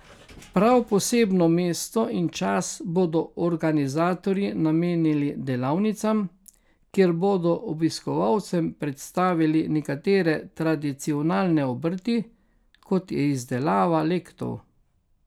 Prav posebno mesto in čas bodo organizatorji namenili delavnicam, kjer bodo obiskovalcem predstavili nekatere tradicionalne obrti, kot je izdelava lectov.